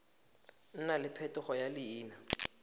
nna le phetogo ya leina